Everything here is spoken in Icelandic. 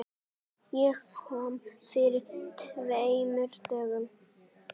Ég kom fyrir tveimur dögum.